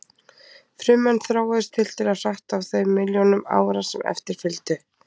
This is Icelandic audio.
Frummenn þróuðust tiltölulega hratt á þeim milljónum ára sem eftir fylgdu.